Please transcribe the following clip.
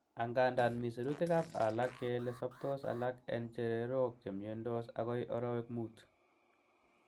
Angandan, mi sirutikab alak kele soptos alak en chererok chemiondos agoi orowek mut.